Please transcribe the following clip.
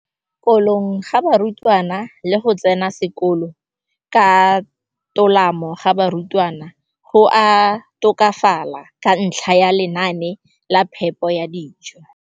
Kolong ga barutwana le go tsena sekolo ka tolamo ga barutwana go a tokafala ka ntlha ya lenaane la phepo ya dijo.